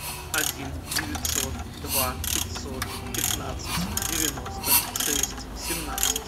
один девятьсот два пятьсот пятнадцать девяносто шесть семнадцать